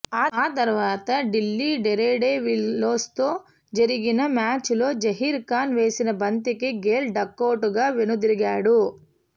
ఆ తర్వాత ఢిల్లీ డేర్డెవిల్స్తో జరిగిన మ్యాచ్లో జహీర్ ఖాన్ వేసిన బంతికి గేల్ డకౌట్గా వెనుదిరిగాడు